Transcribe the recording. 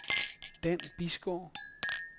Dan Bisgaard